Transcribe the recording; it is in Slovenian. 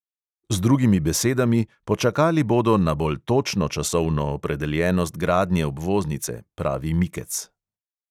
Z drugimi besedami: počakali bodo na bolj točno časovno opredeljenost gradnje obvoznice, pravi mikec.